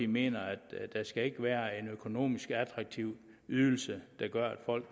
mener at det skal være en økonomisk attraktiv ydelse der gør at folk